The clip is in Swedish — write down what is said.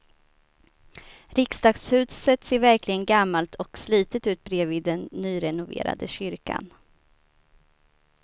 Riksdagshuset ser verkligen gammalt och slitet ut bredvid den nyrenoverade kyrkan.